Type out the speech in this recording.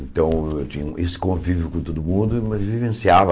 Então, eu tinha esse convívio com todo mundo, mas vivenciava